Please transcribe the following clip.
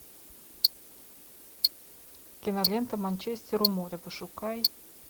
кинолента манчестер у моря пошукай